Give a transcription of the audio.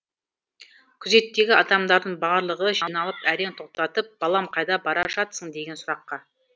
күзеттегі адамдардың барлығы жиналып әрең тоқтатып балам қайда бара жатсың деген сұраққа